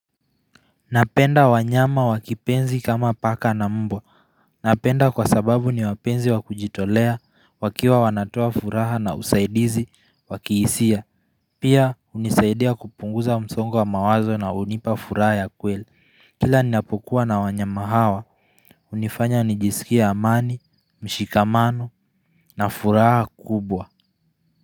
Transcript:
Napenda wanyama wa kipenzi kama paka na mbwa. Napenda kwa sababu ni wapenzi wakujitolea, wakiwa wanatoa furaha na usaidizi, wakiisia. Pia, hunisaidia kupunguza msongo wa mawazo na unipa furaha ya kweli. Kila nnapokuwa na wanyama hawa unifanya nijisikie amani, mshikamano na furaha kubwa.